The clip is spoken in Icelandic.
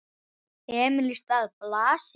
Emil í stað Blasi?